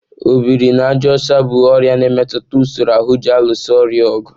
Ọ biri na àjà ọcha bụ ọrịa na-emetụta usoro ahụ ji alụso ọrịa ọgụ.